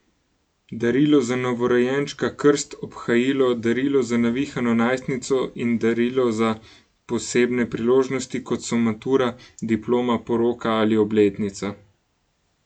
Darilo za novorojenčka, krst, obhajilo, darilo za navihano najstnico in darilo za posebne priložnosti, kot so matura, diploma, poroka ali obletnica.